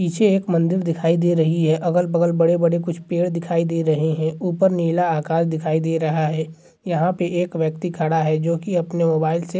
पीछे एक मंदिर दिखाई दे रही है। अगल-बगल बड़े-बड़े कुछ पेड़ दिखाई दे रहे हैं। ऊपर नीला आकाश दिखाई दे रहा है। यहाँ पे एक व्यक्ति खड़ा है जो कि अपने मोबाइल से --